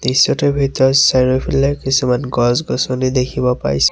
দৃশ্যটোৰ ভিতৰত চাৰিওফালে কিছুমান গছ-গছনি দেখিব পাইছোঁ।